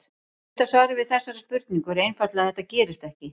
Stutta svarið við þessari spurningu er einfaldlega að þetta gerist ekki.